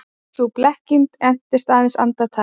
Sú blekking entist aðeins andartak.